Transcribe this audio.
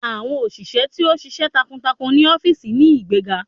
Awọn oṣiṣẹ ti o ṣiṣẹ takuntakun ni ọfiisi ni igbega